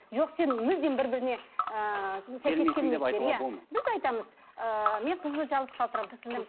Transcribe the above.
жоқ сен мүлдем бір біріне ыыы біз айтамыз ыыы мен қызды жалғыз қалдырамын